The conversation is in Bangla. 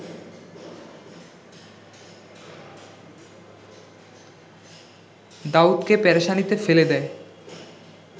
দাউদকে পেরেশানিতে ফেলে দেয়